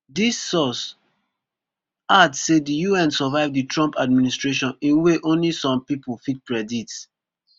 dis source add say di un survive di trump administration in way ony some pipo fit predict